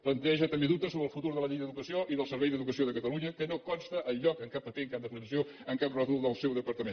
planteja també dubtes sobre el futur de la llei d’educació i del servei d’educació de catalunya que no consta enlloc en cap paper en cap declaració en cap rètol del seu departament